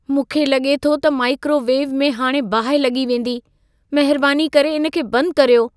मूंखे लॻे थो त माइक्रोवेव में हाणे बाहि लॻी वेंदी। महिरबानी करे इन खे बंदि कर्यो।